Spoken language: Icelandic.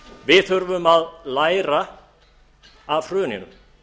við þurfum að læra af hruninu